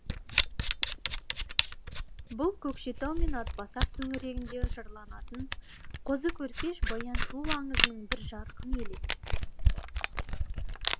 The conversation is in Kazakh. бұл көкшетау мен атбасар төңірегінде жырланатын қозы көрпеш баян сұлу аңызының бір жарқын елесі